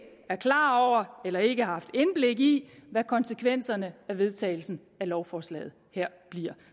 er klar over eller ikke har haft indblik i hvad konsekvenserne af vedtagelsen af lovforslaget her bliver